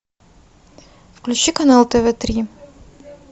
включи канал тв три